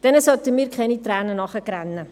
Denen sollten wir keine Träne nachweinen.